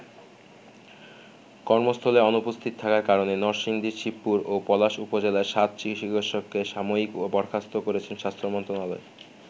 কর্মস্থলে অনুপস্থিত থাকার কারণে নরসিংদীর শিবপুর ও পলাশ উপজেলার সাত চিকিৎসককে সাময়িক বরখাস্ত করেছে স্বাস্থ্য মন্ত্রণালয়।